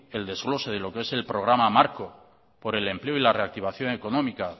el desglose de lo que es el programa marco por el empleo y la reactivación económica